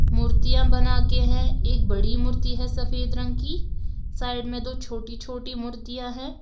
मूर्तियां बनाके है। एक बड़ी मूर्ति है सफेद रंग की। साइड में दो छोटी छोटी मूर्तियां हैं।